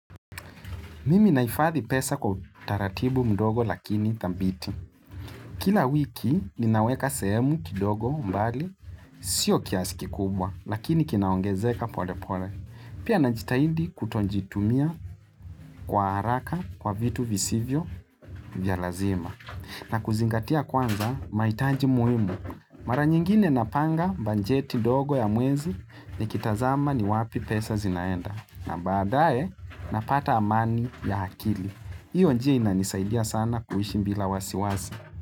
Mimi nahifadhi pesa kwa utaratibu mdogo lakini thabiti. Kila wiki ninaweka sehemu kidogo mbali, sio kiasi kikubwa, lakini kinaongezeka pole pole. Pia najitahidi kutozjitumia kwa haraka kwa vitu visivyo vya lazima. Na kuzingatia kwanza, mahitaji muhimu. Mara nyingine napanga bajeti dogo ya mwezi nikitazama ni wapi pesa zinaenda. Na badae, napata amani ya akili. Hiyo njia inanisaidia sana kuishi bila wasiwasi.